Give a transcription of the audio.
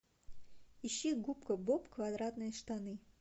ищи губка боб квадратные штаны